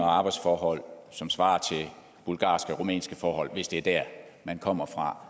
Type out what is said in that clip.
arbejdsforhold som svarer til bulgarske eller rumænske forhold hvis det er der man kommer fra